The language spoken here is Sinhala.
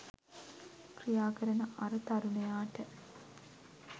ක්‍රියාකරන අර තරුණයාට